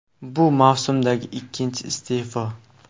Bu mavsumdagi ikkinchi iste’fo.